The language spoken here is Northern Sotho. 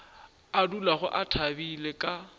a dulago a thabile ka